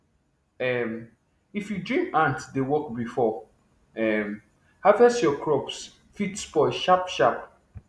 um if you dream ants dey work before um harvest your crops fit spoil sharpsharp